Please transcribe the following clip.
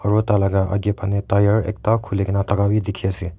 aru tah laga aage fahne tyre ekta khuli ke na thaka bhi dikhi ase.